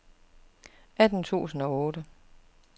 atten tusind og otte